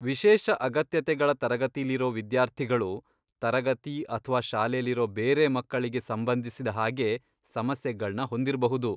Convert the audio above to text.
ವಿಶೇಷ ಅಗತ್ಯತೆಗಳ ತರಗತಿಲಿರೋ ವಿದ್ಯಾರ್ಥಿಗಳು, ತರಗತಿ ಅಥ್ವಾ ಶಾಲೆಲಿರೋ ಬೇರೆ ಮಕ್ಕಳಿಗೆ ಸಂಬಂಧ್ಸಿದ ಹಾಗೆ ಸಮಸ್ಯೆಗಳ್ನ ಹೊಂದಿರ್ಬಹುದು.